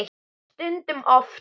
Stundum oftar.